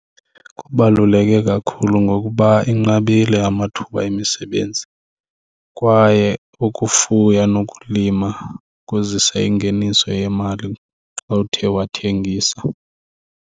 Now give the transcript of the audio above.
Kubaluleke kakhulu ngokuba inqabile amathuba emisebenzi kwaye ukufuya nokulima kuzisa ingeniso yemali xa uthe wathengisa.